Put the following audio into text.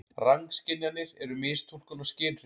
Rangskynjanir eru mistúlkun á skynhrifum.